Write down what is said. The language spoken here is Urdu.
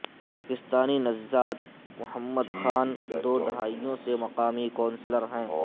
پاکستانی نژاد محمد خان دو دہائیوں سے مقامی کونسلر ہیں